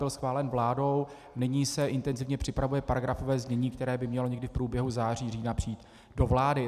Byl schválen vládou, nyní se intenzivně připravuje paragrafové znění, které by mělo někdy v průběhu září, října přijít do vlády.